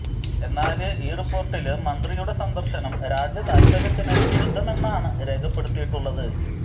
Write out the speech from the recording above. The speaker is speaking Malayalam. എന്നാല് ഈ റിപ്പോര്ട്ടില് മന്ത്രിയുടെ സന്ദര്ശനം രാജ്യതാല്പര്യത്തിന് വിരുദ്ധമെന്നാണ് രേഖപ്പെടുത്തിയിട്ടുള്ളത്